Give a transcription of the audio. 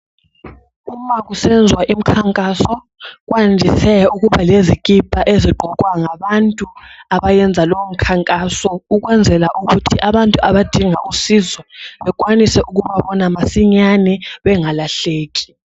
Uma kusenziwa imikhankaso kwandise ukuba lezikipa ezigqokwa ngabantu abayenza lowo mkhankaso, ukwenzela ukuthi abantu abadinga usizo bakwanise ukuba bona masinya bengalahleki.